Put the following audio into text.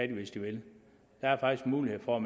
de hvis de vil der er faktisk mulighed for